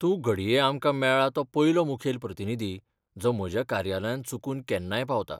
तूं घडये आमकां मेळ्ळां तो पयलो मुखेल प्रतिनिधी, जो म्हज्या कार्यालयांत चुकून केन्नाय पावता.